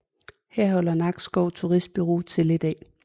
Her holder Nakskov Turistbureau til i dag